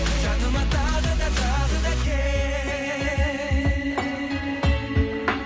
жаныма тағы да тағы да кел